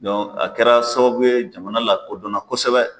Dɔn a kɛra sababu ye jamana lakodɔnna kosɛbɛ.